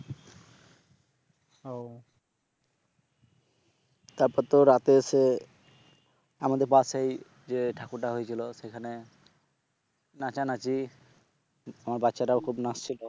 তারপর তো রাতে এসে আমাদের পাশেই যে ঠাকুরটা হয়েছিল সেখানে নাচানাচি আমার বাচ্চাটাও খুব নাচছিল